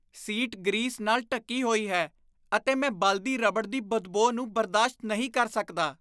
Seat grease ਨਾਲ ਢੱਕੀ ਹੋਈ ਹੈ ਅਤੇ ਮੈਂ ਬਲਦੀ ਰਬੜ ਦੀ ਬਦਬੋ ਨੂੰ ਬਰਦਾਸ਼ਤ ਨਹੀਂ ਕਰ ਸਕਦਾ।